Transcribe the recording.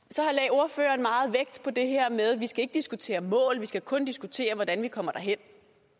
ordføreren meget vægt på det her med at vi ikke skal diskutere mål vi skal kun diskutere hvordan vi kommer derhen